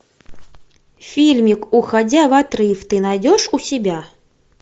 фильмик уходя в отрыв ты найдешь у себя